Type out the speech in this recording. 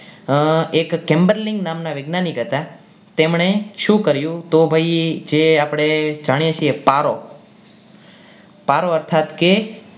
એક crebling નામના વૈજ્ઞાનિક હતા તેમણે શું કર્યું તો ભાઈ જે આપણે જાણીએ છીએ પારો પારો અર્થાત કે